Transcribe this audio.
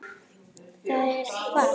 Það er hvasst.